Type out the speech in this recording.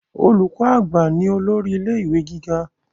Olùkọ àgbà ni olórí ilé ìwé gíga.